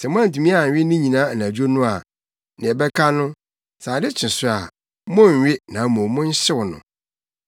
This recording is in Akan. Sɛ moantumi anwe ne nyinaa anadwo no a, nea ɛbɛka no, sɛ ade kye so a, monnnwe na mmom monhyew no.